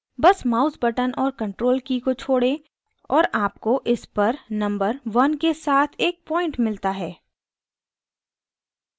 button mouse button और ctrl की को छोड़ें और आपको इस पर number 1 के साथ एक point मिलता है